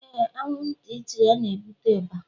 Éè,. anwụnt it's, a na-ebute ịba